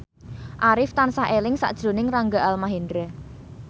Arif tansah eling sakjroning Rangga Almahendra